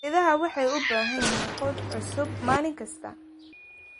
Idaha waxay u baahan yihiin quud cusub maalin kasta.